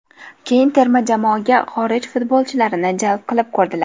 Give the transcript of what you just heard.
Keyin terma jamoaga xorij futbolchilarini jalb qilib ko‘rdilar.